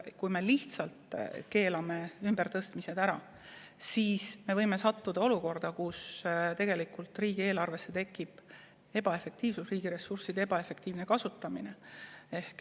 Kui me lihtsalt keelame ümbertõstmised ära, siis me võime sattuda olukorda, kus tekib riigi ressursside ebaefektiivne kasutamine.